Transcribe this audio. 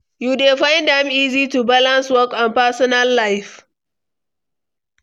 You dey find am easy to balance work and personal life?